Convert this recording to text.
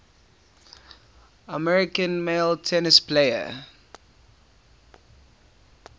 american male tennis players